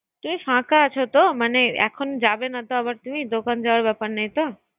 তুমি ফাকা আছোত মানে এখন যাবেনা তো আবার তুমি দোকান যাওয়ার ব্যাপার নেই তো